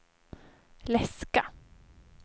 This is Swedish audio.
läska